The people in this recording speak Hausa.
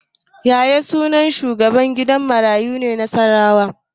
Yaya sunan shugaban gidan marayu na Nasarawa